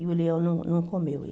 E o leão não não comeu ele.